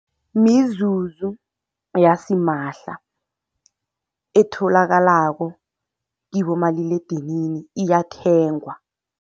Mizuzu yasimahla etholakalako kibomaliledinini, iyathengwa.